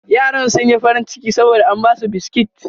Yaran sun yi farin ciki saboda an ba su biskit.